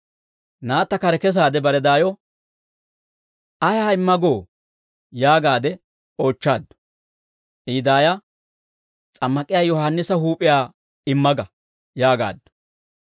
Naatta kare kesaade bare daayo, «Ayaa imma goo?» yaagaade oochchaaddu. I daaya, «S'ammak'iyaa Yohaannisa huup'iyaa imma ga» yaagaaddu.